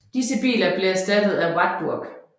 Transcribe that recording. Disse biler blev erstattet af Wartburg